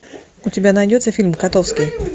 у тебя найдется фильм котовский